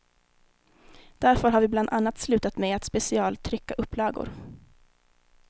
Därför har vi bland annat slutat med att specialtrycka upplagor.